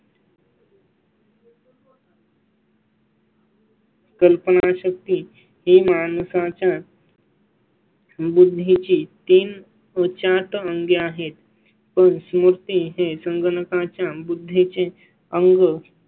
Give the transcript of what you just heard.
कल्पनाशक्ती ही माणसा च्या . बुद्धी ची तीन उच्चाटन अंगे आहेत. कोणा ची मूर्ती हे संगणका च्या बुद्धी चे अंग